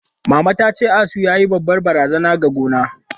Mama tace, asu yayi babbar barazana ga gona.